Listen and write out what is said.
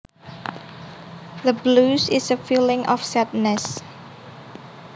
The blues is a feeling of sadness